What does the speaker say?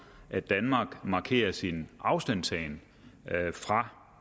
at danmark markerer sin afstandtagen fra